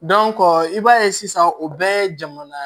i b'a ye sisan o bɛɛ ye jamana